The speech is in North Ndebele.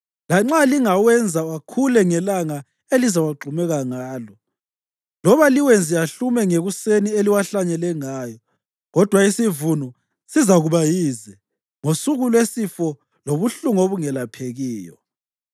lanxa lingawenza akhule ngelanga elizawagxumeka ngalo, loba liwenze ahlume ngekuseni eliwahlanyele ngayo, kodwa isivuno sizakuba yize ngosuku lwesifo lobuhlungu obungelaphekiyo.